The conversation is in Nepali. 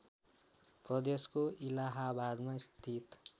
प्रदेशको इलाहाबादमा स्थित